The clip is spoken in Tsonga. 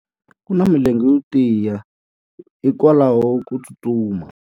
U na milenge yo tiya hikwalaho ko tsustuma.